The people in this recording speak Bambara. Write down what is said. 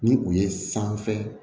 Ni u ye sanfɛ